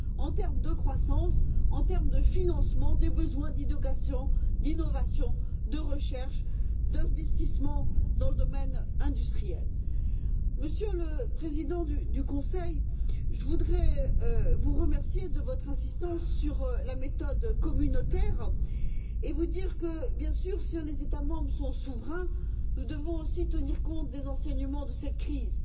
en termes de croissance, en termes de financement des besoins d'innovation, de recherche, d'investissement dans le domaine industriel. Monsieur le Président du Conseil, je voudrais vous remercier de votre insistance sur la méthode communautaire et vous dire que, bien sûr, si les États membres sont souverains, nous devons aussi tenir compte des enseignements de cette crise.